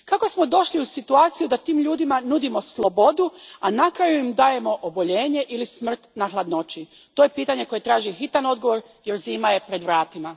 Kako smo došli u situaciju da tim ljudima nudimo slobodu, a na kraju im dajemo oboljenje ili smrt na hladnoći? To je pitanje koje traži hitan odgovor jer zima je pred vratima.